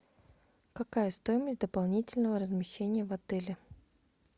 какая стоимость дополнительного размещения в отеле